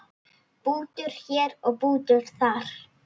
Bútur hér og bútur þar.